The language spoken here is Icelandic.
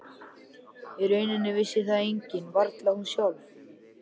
Í rauninni vissi það enginn, varla hún sjálf.